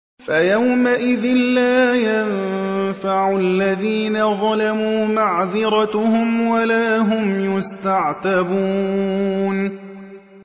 فَيَوْمَئِذٍ لَّا يَنفَعُ الَّذِينَ ظَلَمُوا مَعْذِرَتُهُمْ وَلَا هُمْ يُسْتَعْتَبُونَ